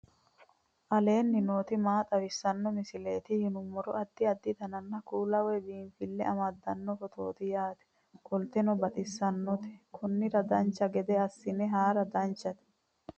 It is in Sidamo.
aleenni nooti maa xawisanno misileeti yinummoro addi addi dananna kuula woy biinsille amaddino footooti yaate qoltenno baxissannote konnira dancha gede assine haara danchate